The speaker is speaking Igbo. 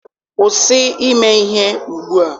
kwụsị ime ihe ugbua!